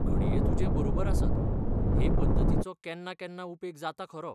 घडये तुजें बरोबर आसत, हे पद्दतीचो केन्नाकेन्ना उपेग जाता खरो.